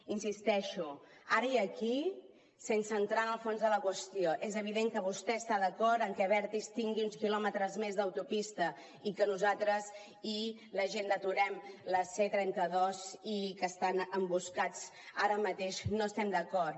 hi insisteixo ara i aquí sense entrar en el fons de la qüestió és evident que vostè està d’acord amb que abertis tingui uns quilòmetres més d’autopista i que nosaltres i la gent d’ aturem la c trenta dos i que estan emboscats ara mateix no hi estem d’acord